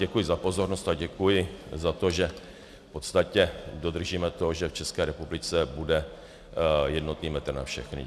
Děkuji za pozornost a děkuji za to, že v podstatě dodržíme to, že v České republice bude jednotný metr na všechny.